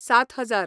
सात हजार